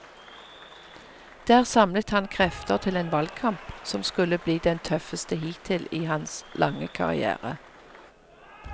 Der samlet han krefter til en valgkamp som skulle bli den tøffeste hittil i hans lange karrière.